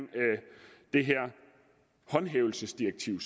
det her håndhævelsesdirektiv